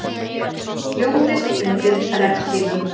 Hljómlist undir regnhlífum